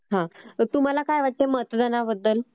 हा. तर तुम्हाला काय वाटतं मतदानाबद्दल?